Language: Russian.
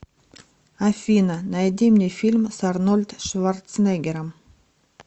афина найди мне фильм с арнольд шварцнеггером